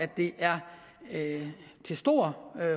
det er til stor